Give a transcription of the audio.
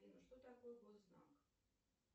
что такое госзнак